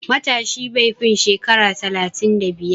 Matashi bai fi shekara talatin da biyar.